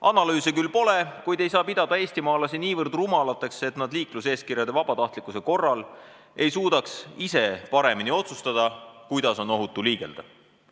Analüüse küll pole, kuid ei saa pidada eestimaalasi niivõrd rumalateks, et nad liikluseeskirjade vabatahtlikkuse korral ei suudaks ise paremini otsustada, kuidas on ohutu liigelda.